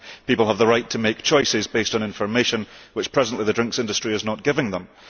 People have the right to make choices based on information which presently the drinks industry is not giving them.